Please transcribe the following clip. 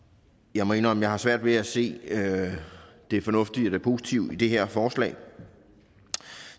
jeg må indrømme at jeg har svært ved at se det fornuftige eller positive i det her forslag